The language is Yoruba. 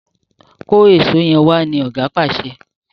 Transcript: kọ Èṣó yén wá! ní oga pàṣẹ.